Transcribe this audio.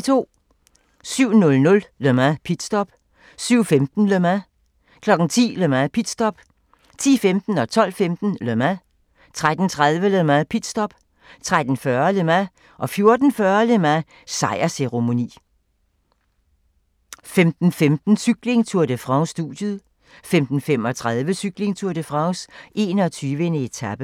07:00: Le Mans - pitstop 07:15: Le Mans 10:00: Le Mans - pitstop 10:15: Le Mans 12:15: Le Mans 13:30: Le Mans - pitstop 13:40: Le Mans 14:40: Le Mans - sejrsceremoni 15:15: Cykling: Tour de France - studiet 15:35: Cykling: Tour de France - 21. etape